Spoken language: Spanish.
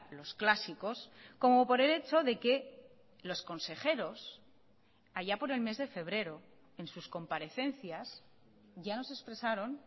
los clásicos como por el hecho de que los consejeros allá por el mes de febrero en sus comparecencias ya nos expresaron